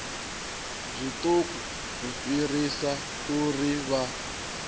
zwiṱuku u fhirisa uri vha